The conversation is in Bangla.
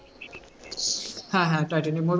হ্যাঁ হ্যাঁ টাইটানিক